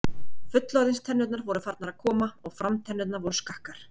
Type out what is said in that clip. Fullorðins- tennurnar voru farnar að koma og framtennurnar voru skakkar.